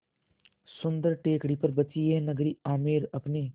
सुन्दर टेकड़ी पर बसी यह नगरी आमेर अपने